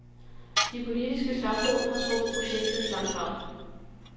De politiske slagsmål har trukket projektet i langdrag.